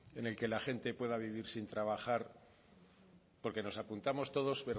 en el que la gente pueda vivir sin trabajar porque nos apuntamos todos